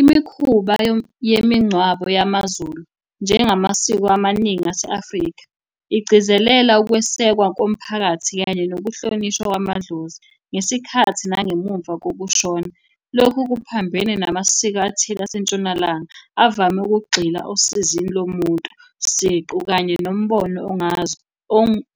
Imikhuba yemingcwabo yamaZulu njengamasiko amaningi ase-Afrika, igcizelela ukwesekwa komphakathi, kanye nokuhlonishwa kwamadlozi ngesikhathi nangemumva kokushona. Lokhu kuphambene namasiko athile aseNtshonalanga avame ukugxila osizini lomuntu siqu, kanye nombono